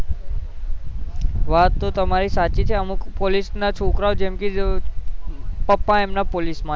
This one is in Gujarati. વાત તો તમારી સાચી છે અમુક પોલીસ ના છોકરાઓ જેમકે પાપા એમના પોલીસ માં છે